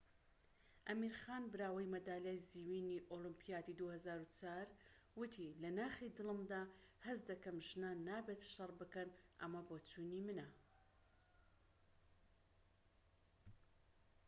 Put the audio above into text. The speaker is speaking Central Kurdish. ئەمیر خان براوەی مەدالیای زیوینی ئۆلۆمبیادی ٢٠٠٤، وتی لە ناخی دڵمدا هەست دەکەم ژنان نابێت شەڕ بکەن. ئەمە بۆچوونی منە."